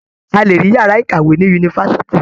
A lè rí yàá ìkàwé ní yunifásitì.